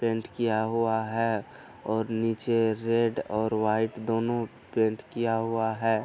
Paint किया हुआ है और नीचे रेड और वाइट दोनों पेंट किया हुआ है।